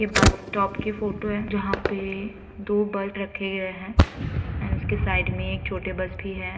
बस स्टॉप के फोटो हैं जहाँ पे दो बस रखे गए हैं और उसके साइड में एक छोटे बस भी हैं ।